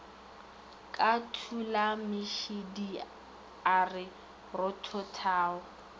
ka tulamešidi a re rothothago